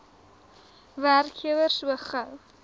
werkgewer so gou